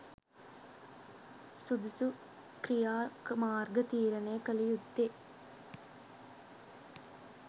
සුදුසු ක්‍රියා මාර්ග තීරණය කළ යුත්තේ